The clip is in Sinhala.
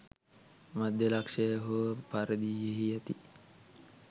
මධ්‍ය ලක්ෂ්‍යය හෝ පරිධියෙහි ඇති